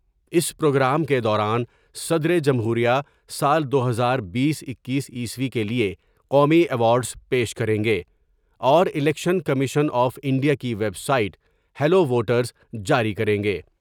اس programme کے دوران صدر جمہوریہ سال دو ہزار بیس ، اکیس کے لئے قومی ایوارڈس پیش کریں گے اور الیکشن کمیشن آف انڈیا کی ویب سائٹ ہیلو ووٹرس جاری کر لیں گے ۔